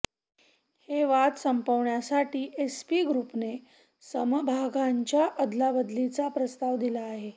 हे वाद संपविण्यासाठी एसपी ग्रुपने समभागांच्या अदलाबदलीचा प्रस्ताव दिला आहे